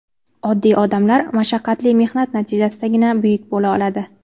Oddiy odamlar mashaqqatli mehnat natijasidagina buyuk bo‘la oladi.